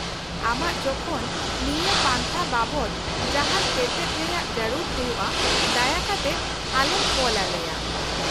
-ᱟᱢᱟᱜ ᱡᱚᱠᱷᱚᱱ ᱱᱤᱭᱟᱹ ᱯᱟᱱᱛᱷᱟ ᱵᱟᱵᱚᱫ ᱡᱟᱦᱟᱸᱱ ᱛᱮᱛᱮᱫ ᱨᱮᱭᱟᱜ ᱡᱟᱹᱨᱩᱲ ᱦᱩᱭᱩᱜᱼᱟ, ᱫᱟᱭᱟ ᱠᱟᱛᱮᱫ ᱟᱞᱮᱢ ᱠᱚᱞᱟᱞᱮᱭᱟ ᱾